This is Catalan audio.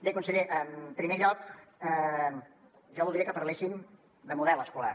bé conseller en primer lloc jo voldria que parléssim de model escolar